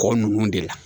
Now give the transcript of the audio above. Kɔkɔ ninnu de la